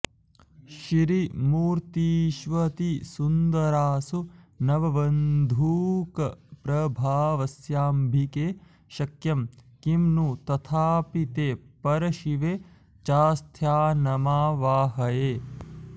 श्रीमूर्तिष्वतिसुन्दरासु नवबन्धूकप्रभास्वम्बिके शक्यं किं नु तथापि ते परशिवे चास्थानमावाहये